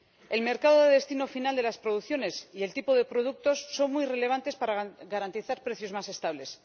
El mercado de destino final de las producciones y el tipo de productos son muy relevantes para garantizar precios más estables.